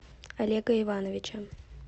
олега ивановича